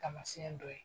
Taamasiyɛn dɔ ye